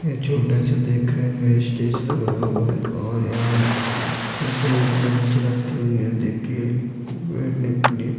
छोटे से देख स्टेज सा बना हुआ है और यहाँ छोटे बेंच रखे हुए है बैठने के लिए।